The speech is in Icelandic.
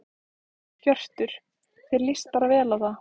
Hjörtur: Þér lýst bara vel á það?